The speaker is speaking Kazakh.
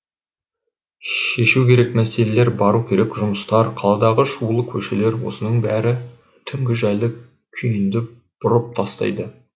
шешу керек мәселер бару керек жұмыстар қаладағы шулы көшелер осының бәрі түнгі жайлы күйінді бұрып тастайды